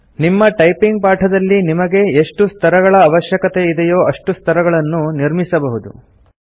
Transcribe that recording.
ನಿಮ್ಮ ಟೈಪಿಂಗ್ ಪಾಠದಲ್ಲಿ ನಿಮಗೆ ಎಷ್ಟು ಸ್ತರಗಳ ಅವಷ್ಯಕತೆ ಇದೆಯೋ ಅಷ್ಟು ಸ್ತರಗಳನ್ನು ನಿರ್ಮಿಸಬಹುದು